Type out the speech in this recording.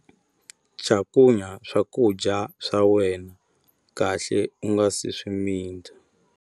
Cakunya swakudya swa wena kahle u nga si swi mita.